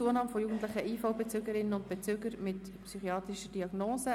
«Zunahme von jugendlichen IV-Bezügerinnen und -Bezügern mit psychiatrischer Diagnose».